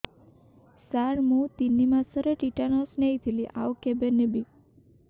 ସାର ମୁ ତିନି ମାସରେ ଟିଟାନସ ନେଇଥିଲି ଆଉ କେବେ ନେବି